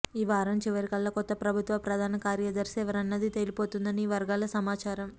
ఈ వారం చివరికల్లా కొత్త ప్రభుత్వ ప్రధాన కార్యదర్శి ఎవరన్నది తేలిపోతుందని ఈ వర్గాల సమాచారం